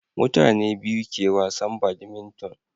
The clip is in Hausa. mutane biyu ke wasan badminton